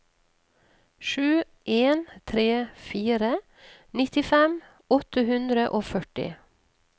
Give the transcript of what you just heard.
sju en tre fire nittifem åtte hundre og førti